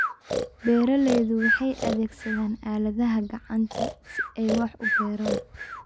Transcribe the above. Beeraleydu waxay adeegsadaan aaladaha gacanta si ay wax u beeraan.